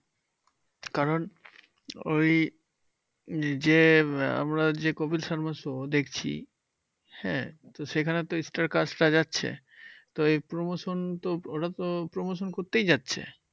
কারণ ওই যে আমরা যে কপিল শর্মা show দেখছি হ্যাঁ? তো সেখানে তো star cast রা যাচ্ছে । তো এই promotion তো ওরা তো promotion করতেই যাচ্ছে।